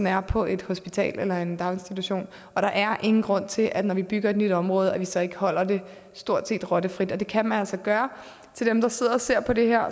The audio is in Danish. er på et hospital eller i en daginstitution og der er ingen grund til når vi bygger et nyt område at vi så ikke holder det stort set rottefrit for det kan man altså gøre til dem der sidder og ser på det her